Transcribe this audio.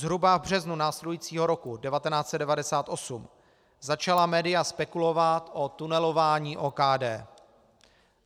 Zhruba v březnu následujícího roku 1998 začala média spekulovat o tunelování OKD.